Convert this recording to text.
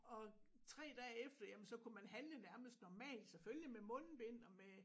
Og 3 dage efter jamen så kunne man handle nærmest normalt selvfølgelig med mundbind og med